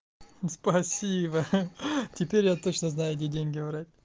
спасибо ха теперь я точно знаю где деньги брать